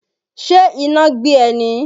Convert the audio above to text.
Ṣe iná gbé e ni?